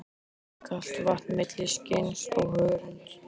Rennur kalt vatn milli skinns og hörunds.